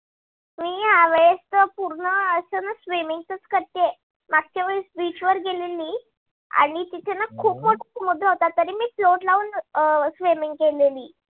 या वेळेस तर पूर्ण अस swimming च च करते. मागच्या वेळेस bench वर गेली आणि तिथे ना खूप मोठ होत पण तरी ना float लाऊन swimming केली